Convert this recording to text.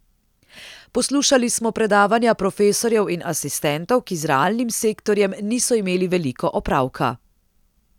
Poslušali smo predavanja profesorjev in asistentov, ki z realnim sektorjem niso imeli veliko opravka.